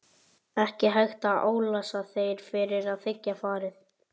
Ekki hægt að álasa þér fyrir að þiggja farið.